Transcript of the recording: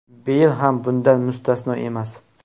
Beyl ham bundan mustasno emas.